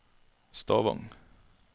Stavang